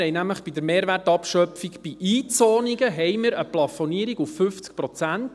Wir haben nämlich bei der Mehrwertabschöpfung bei Einzonungen eine Plafonierung bei 50 Prozent.